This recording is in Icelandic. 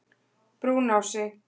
Brúnási